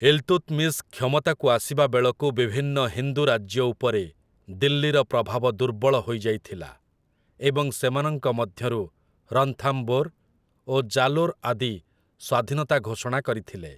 ଇଲ୍‌ତୁତ୍‌ମିସ୍‌ କ୍ଷମତାକୁ ଆସିବା ବେଳକୁ ବିଭିନ୍ନ ହିନ୍ଦୁ ରାଜ୍ୟ ଉପରେ ଦିଲ୍ଲୀର ପ୍ରଭାବ ଦୁର୍ବଳ ହୋଇଯାଇଥିଲା ଏବଂ ସେମାନଙ୍କ ମଧ୍ୟରୁ ରନ୍ଥାମ୍ବୋର୍ ଓ ଜାଲୋର୍ ଆଦି ସ୍ୱାଧୀନତା ଘୋଷଣା କରିଥିଲେ ।